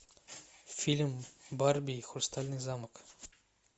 фильм барби и хрустальный замок